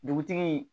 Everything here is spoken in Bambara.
Dugutigi